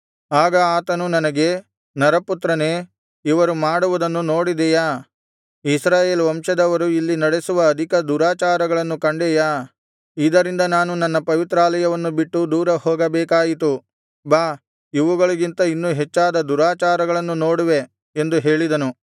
ಆಗ ಆತನು ನನಗೆ ನರಪುತ್ರನೇ ಇವರು ಮಾಡುವುದನ್ನು ನೋಡಿದೆಯಾ ಇಸ್ರಾಯೇಲ್ ವಂಶದವರು ಇಲ್ಲಿ ನಡೆಸುವ ಅಧಿಕ ದುರಾಚಾರಗಳನ್ನು ಕಂಡೆಯಾ ಇದರಿಂದ ನಾನು ನನ್ನ ಪವಿತ್ರಾಲಯವನ್ನು ಬಿಟ್ಟು ದೂರ ಹೋಗಬೇಕಾಯಿತು ಬಾ ಇವುಗಳಿಗಿಂತ ಇನ್ನು ಹೆಚ್ಚಾದ ದುರಾಚಾರಗಳನ್ನು ನೋಡುವೆ ಎಂದು ಹೇಳಿದನು